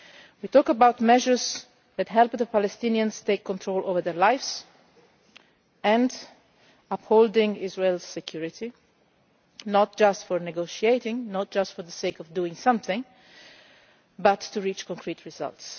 We mean measures that help the Palestinians take control over their lives and uphold Israel's security, not just negotiating, not just for the sake of doing something, but to reach concrete results.